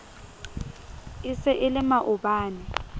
e se e le maobane